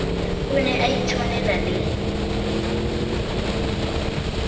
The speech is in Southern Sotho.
o ne a itshwanela le